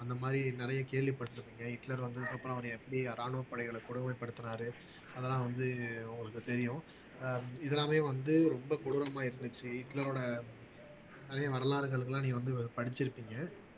அந்த மாதிரி நிறைய கேள்விப்பட்டிருப்பீங்க ஹிட்லர் வந்ததுக்கு அப்புறம் அவரை எப்படி ராணுவப் படைகளை கொடுமைப்படுத்துனாரு அதெல்லாம் வந்து உங்களுக்குத் தெரியும் அஹ் இதெல்லாமே வந்து ரொம்ப கொடூரமா இருந்துச்சு ஹிட்லரோட அதே வரலாறுகளுக்கெல்லாம் நீ வந்து படிச்சிருப்பீங்க